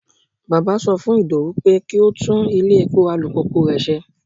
Bàbá sọ fún Idowu pé kí ó tún ilé-epo alùpùpù rẹ̀ ṣe.